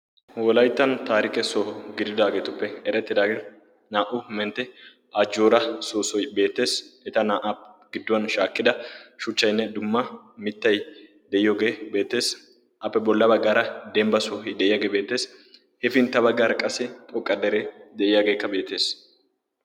wolayttan taarike so giridaageetuppe erettidaagee naa"u mentte ajjoora soosoi beetees eta naa"aa gidduwan shaakkida shuchchainne dumma mittai de'iyoogee beetees appe bolla baggaara dembba soohi de'iyaagee beetees hepintta baggaara qassi xoqqa dere de'iyaageekka beettees.